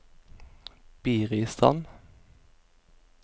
Biristrand